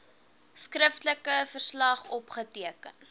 skriftelike verslag opgeteken